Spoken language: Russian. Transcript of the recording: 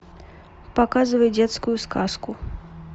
показывай детскую сказку